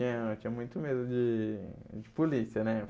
Eh eu tinha muito medo de de polícia, né?